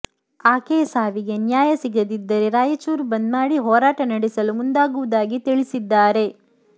ಆಕೆಯ ಸಾವಿಗೆ ನ್ಯಾಯ ಸಿಗದಿದ್ದರೆ ರಾಯಚೂರು ಬಂದ್ ಮಾಡಿ ಹೋರಾಟ ನಡೆಸಲು ಮುಂದಾಗುವುದಾಗಿ ತಿಳಿಸಿದ್ದಾರೆ